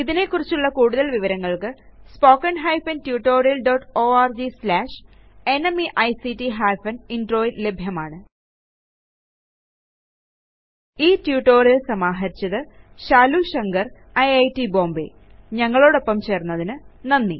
ഇതിനെക്കുറിച്ചുള്ള കൂടുതല് വിവരങ്ങൾക്ക് spoken hyphen tutorial dot org slash ന്മെയ്ക്ട് ഹൈഫൻ Introയിൽ ലഭ്യമാണ് ഈ ട്യൂട്ടോറിയൽ സമാഹരിച്ചത് ശാലു ശങ്കർ ഐറ്റ് ബോംബേ ഞങ്ങളോടോപ്പം ചേർന്നതിന് നന്ദി